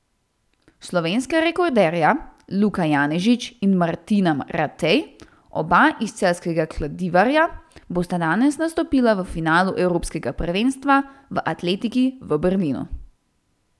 Slovenska rekorderja Luka Janežič in Martina Ratej, oba iz celjskega Kladivarja, bosta danes nastopila v finalu evropskega prvenstva v atletiki v Berlinu.